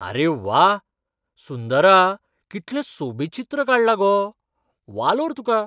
अरे व्वा! सुंदरा, कितलें सोबीत चित्र काडलां गो! वालोर तुका.